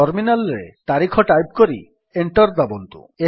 terminal ରେ ତାରିଖ type କରି ଏଣ୍ଟର୍ ଦାବନ୍ତୁ